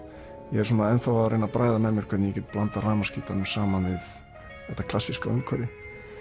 ég er enn þá að reyna að bræða með mér hvernig ég get blandað rafmagnsgítarnum saman við þetta klassíska umhverfi